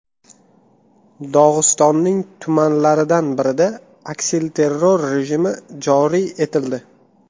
Dog‘istonning tumanlaridan birida aksilterror rejimi joriy etildi.